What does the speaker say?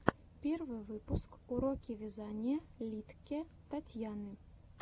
первый выпуск уроки вязания литке татьяны